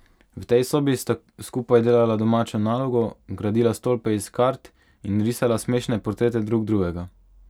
V tej sobi sta skupaj delala domačo nalogo, gradila stolpe iz kart in risala smešne portrete drug drugega.